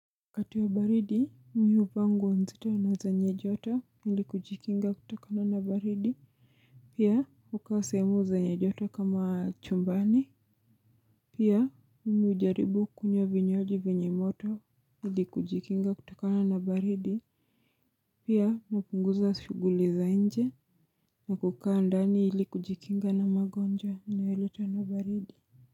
Wakati wa baridi, mi uvaa nguo nzuri na zenye joto, ili kujikinga kutakana na baridi. Pia, ukaa sehemu zenye joto kama chumbani. Pia, nimejaribu kunywa vinywaji vinyemoto, ili kujikinga kutakana na baridi. Pia, hupunguza shughuli za nje, na kukaa ndani ili kujikinga na magonjwa yanayoletwa na baridi.